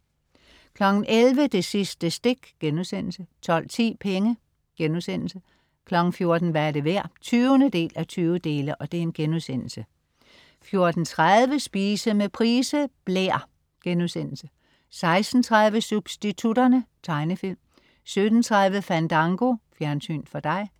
11.00 Det sidste stik* 12.10 Penge* 14.00 Hvad er det værd? 20:20* 14.30 Spise med Price. Blær* 16.30 Substitutterne. Tegnefilm 17.30 Fandango. Fjernsyn for dig